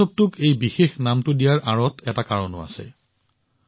উৎসৱটোক এই বিশেষ নামটো দিয়াৰ আঁৰত এটা কাৰণো আছে